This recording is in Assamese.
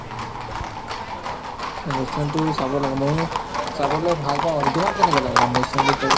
news channel তো চাব লগা ময়ো চাবলে ভাল পাওঁ আৰু তোমাক কেনেকুৱা লাগে মানে news channel তো চাই